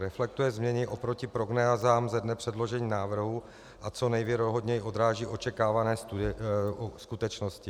Reflektuje změny oproti prognózám ze dne předložení návrhu a co nejvěrohodněji odráží očekávané skutečnosti.